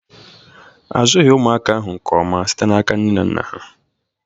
Azụghị ụmụaka ahụ nke ọma site n'aka nne na nna ha